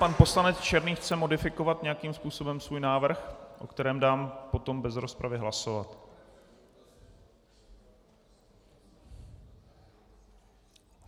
Pan poslanec Černý chce modifikovat nějakým způsobem svůj návrh, o kterém dám potom bez rozpravy hlasovat.